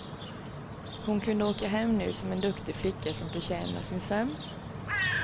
Hon kunde åka hem nu, som en duktig flicka som förtjänar sin sömn.